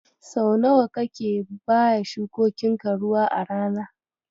Sau nawa kake baya shukokinka ruwa a rana?